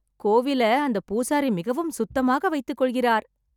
கோவில அந்த பூசாரி மிகவும் சுத்தமாக வைத்துக் கொள்கிறார்